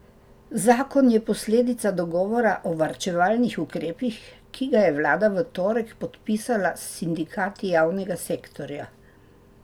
Zakon je posledica dogovora o varčevalnih ukrepih, ki ga je vlada v torek podpisala s sindikati javnega sektorja.